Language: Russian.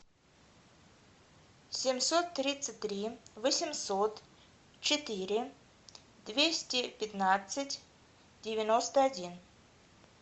семьсот тридцать три восемьсот четыре двести пятнадцать девяносто один